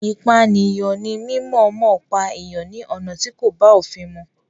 Ìpànìyàn ní mímọ̀ọ́mọ̀ pípa èèyàn ní ọ̀nà tí kò bá òfin mu.